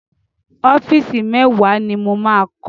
Ọ́fíìsì mẹ́wàá ni mo máa kọ́.